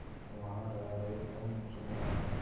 वहां रह रहे उन मुसलमानों की